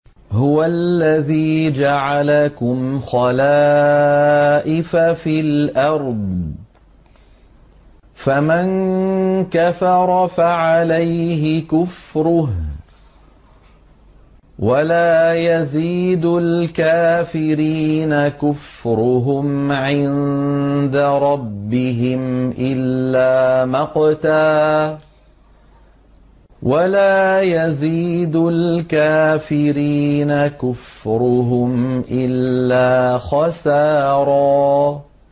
هُوَ الَّذِي جَعَلَكُمْ خَلَائِفَ فِي الْأَرْضِ ۚ فَمَن كَفَرَ فَعَلَيْهِ كُفْرُهُ ۖ وَلَا يَزِيدُ الْكَافِرِينَ كُفْرُهُمْ عِندَ رَبِّهِمْ إِلَّا مَقْتًا ۖ وَلَا يَزِيدُ الْكَافِرِينَ كُفْرُهُمْ إِلَّا خَسَارًا